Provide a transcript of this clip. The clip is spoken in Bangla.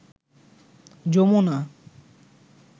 যমুনা